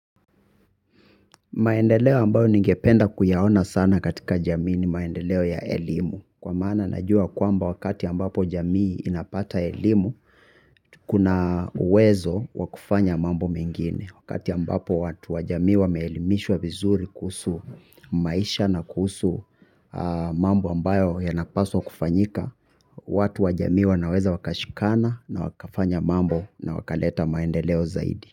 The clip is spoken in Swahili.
Maendeleo ambayo ningependa kuyaona sana katika jamii ni maendeleo ya elimu. Kwa maana najua kwamba wakati ambapo jamii inapata elimu, kuna uwezo wakufanya mambo mengine. Wakati ambapo watu wajamii wameelimishwa vizuri kuhusu maisha na kuhusu mambo ambayo yanapaswa kufanyika, watu wajamii wanaweza wakashikana na wakafanya mambo na wakaleta maendeleo zaidi.